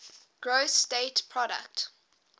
gross state product